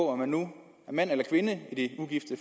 om man nu er mand eller kvinde i det ugifte